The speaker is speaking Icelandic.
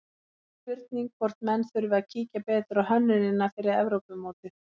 Spurning hvort menn þurfi að kíkja betur á hönnunina fyrir Evrópumótið?